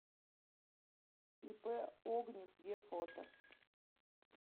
ип огнев ве фото